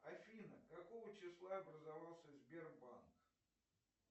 афина какого числа образовался сбербанк